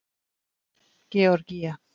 Georgía